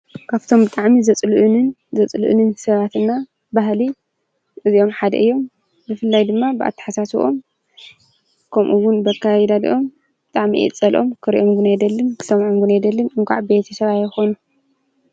ካብቶም ብጣዕሚ ዘጽልኡንን ዘጽልኡንን ሰባትና ባህሊ እዚኦም ሓደ እዮም፤ ብፍላይ ድማ ብኣታሓሳስብኦም ከምኡ ዉን በኣካያይዶም ብጣዕሚ እየ ዝጸልኦም ክርእዮም ዉን ኣይደልን ክሰምዖም ዉን ኣይደልን እንኳዕ ቤተሰበይ ኣይኮኑ።